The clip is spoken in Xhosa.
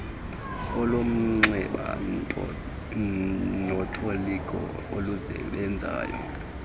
olomnxeba notoliko olusebezayo